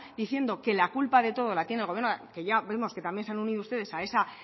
diciendo que la culpa de todo la tiene el gobierno que ya vemos que también se han unido ustedes a esa